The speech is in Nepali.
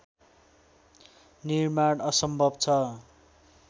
निर्माण असम्भव छ